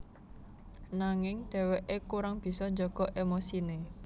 Nanging dheweke kurang bisa jaga emosine